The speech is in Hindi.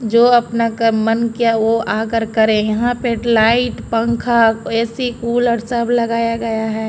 जो अपने कन मन किया वो आकर करे यहाँ पर लाइट पंखा ऐ_सी कूलर सब लगाया गया है।